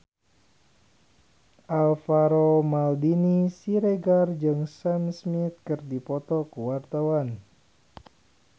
Alvaro Maldini Siregar jeung Sam Smith keur dipoto ku wartawan